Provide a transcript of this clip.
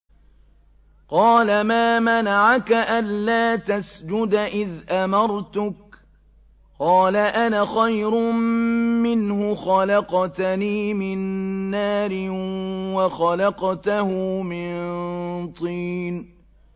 قَالَ مَا مَنَعَكَ أَلَّا تَسْجُدَ إِذْ أَمَرْتُكَ ۖ قَالَ أَنَا خَيْرٌ مِّنْهُ خَلَقْتَنِي مِن نَّارٍ وَخَلَقْتَهُ مِن طِينٍ